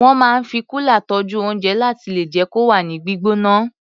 Wọ́n máa ń fi kúlà tọ́jú oúnjẹ láti lè jẹ́ kó wà ní gbígbóná.